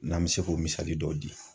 N'an bɛ se k'o misali dɔw di